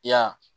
I ya